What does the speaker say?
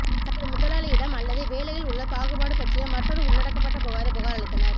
தங்கள் முதலாளியிடம் அல்லது வேலையில் உள்ள பாகுபாடு பற்றிய மற்றொரு உள்ளடக்கப்பட்ட புகாரைப் புகாரளித்தனர்